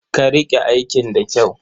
Ka riƙe aikin da kyau.